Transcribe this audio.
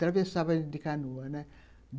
Travessávamos de canoa, né.